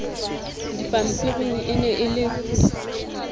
dipampiring e ne e le